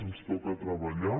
ens toca treballar